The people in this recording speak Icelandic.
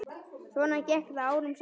Svona gekk það árum saman.